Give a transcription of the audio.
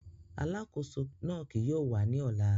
Alakoso náa kii yóò wa ni ọla.